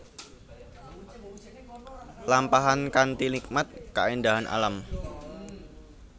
Lampahan kanthi nikmati kaéndahan alam